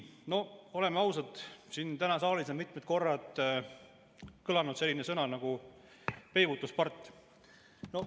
Oleme ausad, siin saalis on mitmed korrad kõlanud selline sõna nagu "peibutuspart".